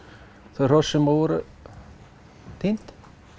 þau hross sem voru týnd